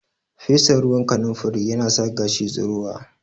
Fesa ruwan kanunfari yana sa gashi tsirowa